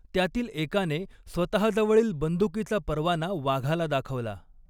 त्यातील एकाने स्वतःजवळील बंदुकीचा परवाना वाघाला दाखवला.